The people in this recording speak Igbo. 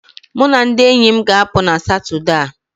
Mụ na ndị enyi m ga-apụ na Satọde a